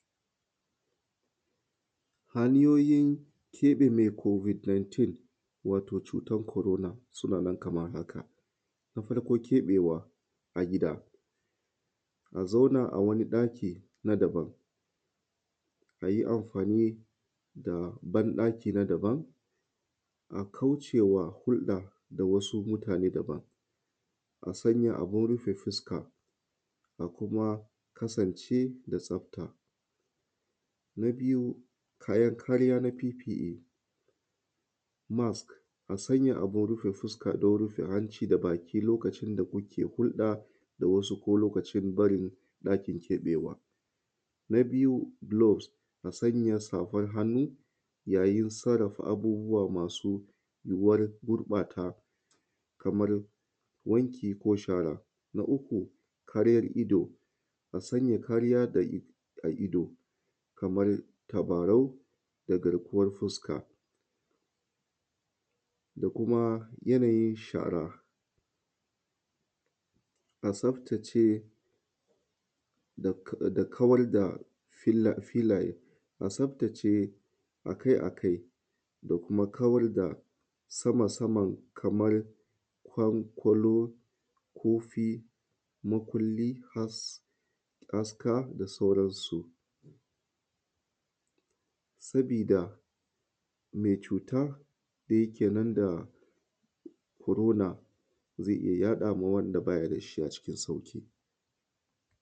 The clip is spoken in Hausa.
Hanyoyin keɓe mai covid 19 wato cutar corona sunanan kamar haka, na farko keɓewa a gida, a zauna a wani ɗaki na daban, a yi amfani da banɗaki na daban, a kaucewa hurɗa na wasu mutane daban, a sanya abin rufe fuska, kuma kasance da tsafta, na biyu, kayan kariya na PPA marks, a sanya abin rufe fuska don rufe hanci da baki lokacin da kuke hulɗa da wasu ko lokacin barin ɗakin keɓewa, na biyu, globe, a sanya safar hannu yayin sarrafa abubuwa masu war gurɓata kamar wanki ko shara, na uku, kariyar ido, ka sanya kariya da a ido kamar tabarau da garjuwar fuska da kuma yanayin shara a tsaftace da kawar da fila filaye a tsaftace a kai a kai da kuma kawar da sama saman kamar fankolo, kofi, makulli, as aska da sauransu sabida mai cuta da yake nan da corona zai iya yaɗa ma wanda baya da shi a cikin sauƙi.